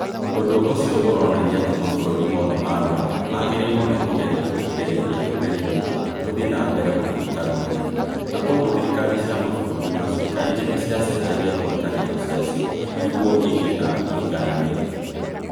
Ũndũ ũcio uronania atĩ mabũrũri mothe ma Rũraya maagĩrĩirũo nĩ kũgeria kũgirĩrĩria rũrĩrĩ rũmwe rũthiĩ na mbere gũtuĩka rũnene, na kwoguo thirikari cia mabũrũri macio kaingĩ nĩ ciacenjagia ngwatanĩro ciacio nĩguo igĩe na ũigananĩru.